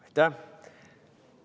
Aitäh!